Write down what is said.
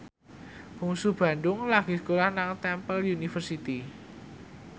Bungsu Bandung lagi sekolah nang Temple University